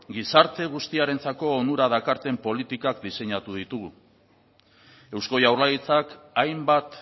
gizarte guztiarentzako onura dakarten politikak diseinatu ditugu eusko jaurlaritzak hainbat